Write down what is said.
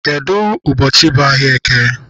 Kedụ ụbọchị bụ ahịa eke?